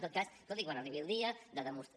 en tot cas escolti quan arribi el dia de demostrar